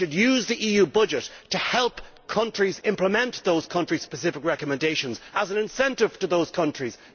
We should use the EU budget to help countries implement those country-specific recommendations as an incentive to those countries.